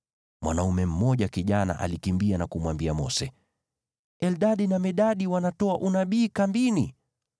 Mwanaume mmoja kijana alikimbia na kumwambia Mose, “Eldadi na Medadi wanatoa unabii kambini.”